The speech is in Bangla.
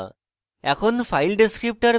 এখন